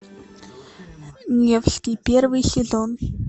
невский первый сезон